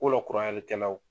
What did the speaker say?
Ko